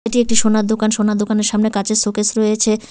এটি একটি সোনার দোকান সোনার দোকানের সামনে কাজের শোকেস রয়েছে।